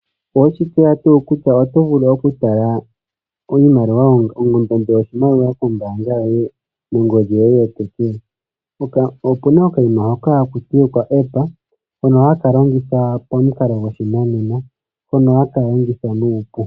Oweshi tseya tuu kutya oto vulu okutala ondando yoshimaliwa kombaanga nongodhi yoye yopeke? Opena okaima hoka ha kutiwa oka app haka longo pamukalo gwoshinanena nohaka longo nuupu.